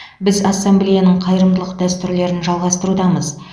біз ассамблеяның қайырымдылық дәстүрлерін жалғастырудамыз